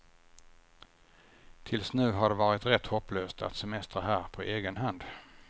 Tills nu har det varit rätt hopplöst att semestra här på egen hand.